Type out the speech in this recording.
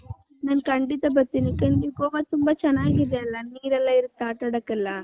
ನನ್ನ ಕಂಡಿತ ಬರ್ತೀನಿ ಯಾಕಂದ್ರೆ ಗೋವ ತುಂಬಾ ಚೆನ್ನಾಗಿದೆ ಅಲ್ಲ ನಿರ್ ಎಲ್ಲಾ ಇದೆ ಆಟಡಕ್ಕೆ ಎಲ್ಲಾ .